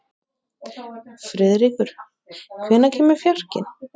Friðríkur, hvenær kemur fjarkinn?